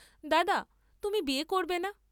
দাদা, তুমি বিয়ে করবে না?